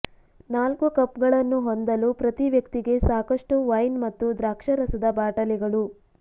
ನಾಲ್ಕು ಕಪ್ಗಳನ್ನು ಹೊಂದಲು ಪ್ರತಿ ವ್ಯಕ್ತಿಗೆ ಸಾಕಷ್ಟು ವೈನ್ ಮತ್ತು ದ್ರಾಕ್ಷಾರಸದ ಬಾಟಲಿಗಳು